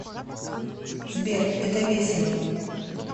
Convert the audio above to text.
сбер это весело